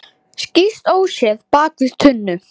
Skýst óséð bak við tunnu.